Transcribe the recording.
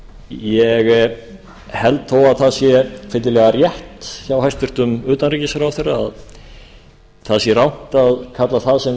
ég held þó að það sé fyllilega rétt hjá hæstvirtum utanríkisráðherra að það sé rangt að kalla það sem